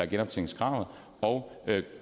genoptjeningskravet og